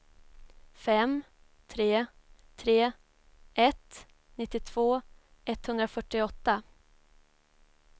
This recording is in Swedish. fem tre tre ett nittiotvå etthundrafyrtioåtta